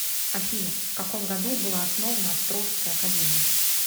афина в каком году была основана острожская академия